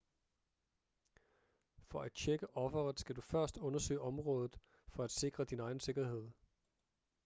for at tjekke offeret skal du først undersøge området for at sikre din egen sikkerhed